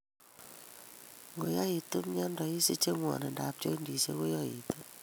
Nkoyaitu miondo isiche ng'wanidab joindisiek koyoitu